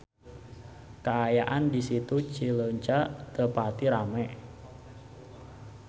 Kaayaan di Situ Cileunca teu pati rame